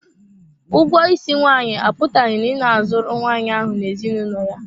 Ụgwọ isi nwaanyị apụtaghị na ị na-azụrụ nwaanyị ahụ n'ezinụlọ ya.